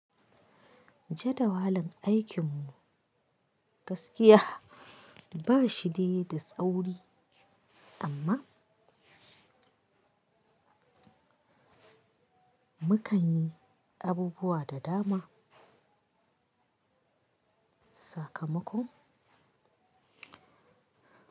Jadawalin aikin mu gaskiya ba shi da yi da tsauri amma mu kan yi abubuwa da dama. Sakamako.